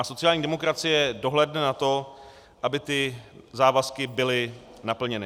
A sociální demokracie dohlédne na to, aby ty závazky byly naplněny.